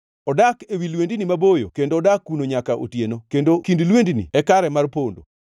Odak ewi lwendni maboyo kendo odak kuno nyaka otieno; kendo kind lwendni e kare mar pondo.